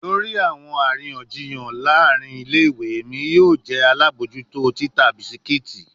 Lori awọn ariyanjiyan laarin ile-iwe, Emi yoo jẹ alabojuto tita biscuits